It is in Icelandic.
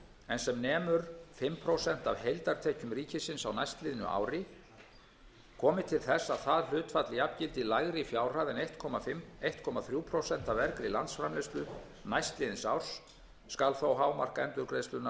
en sem nemur fimm prósent af heildartekjum ríkisins á næstliðnu ári komi til þess að það hlutfall jafngildi lægri fjárhæð en einn komma þrjú prósent af vergri landsframleiðslu næstliðins árs skal þó hámark endurgreiðslunnar